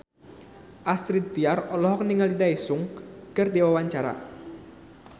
Astrid Tiar olohok ningali Daesung keur diwawancara